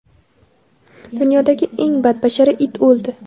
Dunyodagi eng badbashara it o‘ldi.